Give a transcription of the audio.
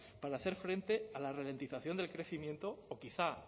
para hacer frente a la ralentización del crecimiento o quizá